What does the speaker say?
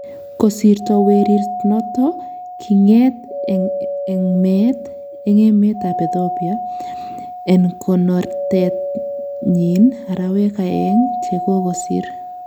Kosirto werirt noton 'kingeet en me-et' en emet ab Ethiopia en konoret nyin arawek aeng chekokosir.